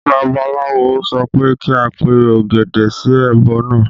Babaláwo sọ pé kí a pe ògèdè sí ẹbọ náà